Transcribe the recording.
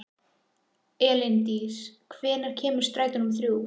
Elíndís, hvenær kemur strætó númer þrjú?